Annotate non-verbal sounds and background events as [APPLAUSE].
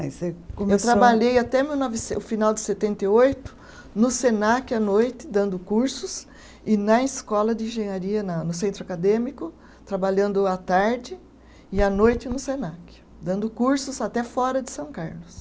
[UNINTELLIGIBLE] Eu trabalhei até mil novece o final de setenta e oito, no Senac à noite, dando cursos, e na escola de engenharia na no centro acadêmico, trabalhando à tarde e à noite no Senac, dando cursos até fora de São Carlos.